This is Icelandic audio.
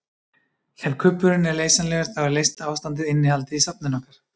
Ef kubburinn er leysanlegur þá er leysta ástandið innihaldið í safninu okkar.